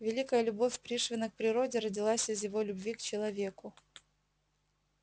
великая любовь пришвина к природе родилась из его любви к человеку